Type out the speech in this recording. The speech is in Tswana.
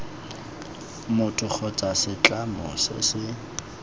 motho kgotsa setlamo se se